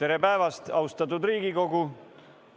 Tere päevast, austatud Riigikogu!